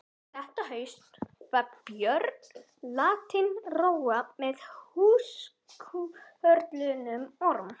Þetta haust var Björn látinn róa með húskörlum Orms.